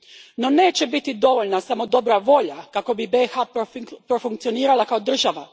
No neće biti dovoljna samo dobra volja kako bi BiH profunkcionirala kao država.